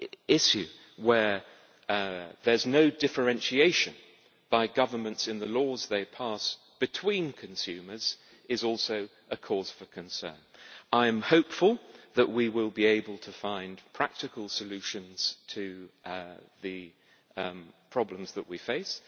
issue where there is no differentiation by governments in the laws they pass between consumers is also a cause for concern. I am hopeful that we will be able to find practical solutions to the problems that we face.